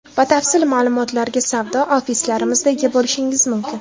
Batafsil ma’lumotlarga savdo ofislarimizda ega bo‘lishingiz mumkin.